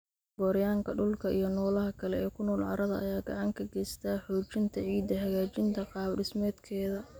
Gooryaanka dhulka iyo noolaha kale ee ku nool carrada ayaa gacan ka geysta xoojinta ciidda, hagaajinta qaabdhismeedkeeda.